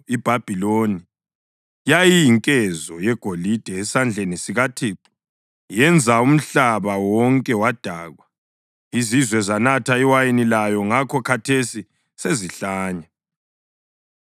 IBhabhiloni yayiyinkezo yegolide esandleni sikaThixo; yenza umhlaba wonke wadakwa. Izizwe zanatha iwayini layo; ngakho khathesi sezihlanya.